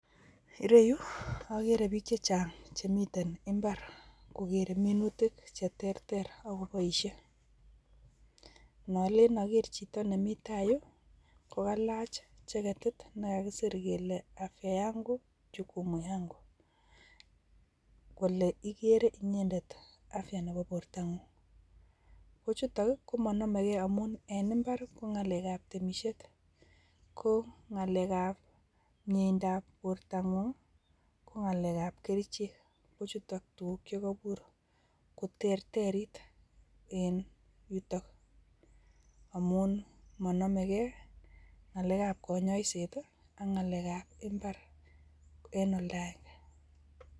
Ireyuu oker bik che chang chemiten imbar kokere minutk cheterter ak koboishe, nolelen oker chito nemii taa yuu ko kalach jeketit nekakisir kele afya yangu chukumu yangu kole ikere inyendet afya nebo borto ngung ko chutok komonome gee amun en imbar ko nagalek an temishet, ko ngalek ab miendap borto ngung ak ngalek ak kerichek kochutok tukuk chekoibur koterterit en yutok amun monome gee ngalek ab konyoset ak nalek ab imbar en oldo agenge.